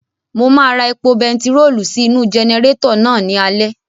Mo máa ra epo bentiróòlù sí inú-u jẹnẹrétọ̀ náà ní alẹ́